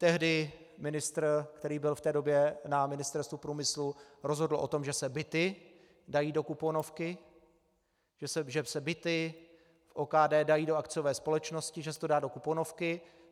Tehdy ministr, který byl v té době na Ministerstvu průmyslu, rozhodl o tom, že se byty dají do kuponovky, že se byty v OKD dají do akciové společnosti, že se to dá do kuponovky.